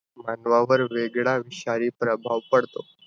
मानवावर वेगळा विषारी प्रभाव पडतो.